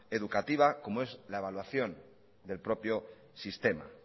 educativa como es la evaluación del propio sistema